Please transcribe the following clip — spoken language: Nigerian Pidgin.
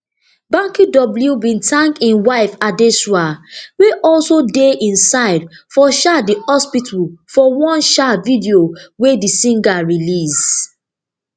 banky w bin tank im wife adesua wey also dey im side for um di hospital for one um video wey di singer release